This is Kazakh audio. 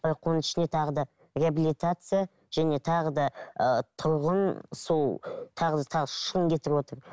бірақ оның ішінде тағы да реабилитация және тағы да ы тұрғын сол тағы да тағы үш мың кетіп отыр